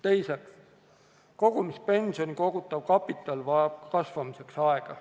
Teiseks, pensionisambasse kogutav kapital vajab kasvamiseks aega.